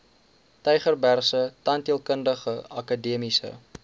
tygerbergse tandheelkundige akademiese